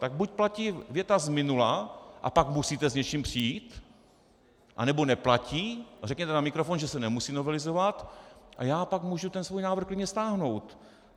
Tak buď platí věta z minula, a pak musíte s něčím přijít, anebo neplatí a řekněte na mikrofon, že se nemusí novelizovat, a já pak mohu ten svůj návrh klidně stáhnout.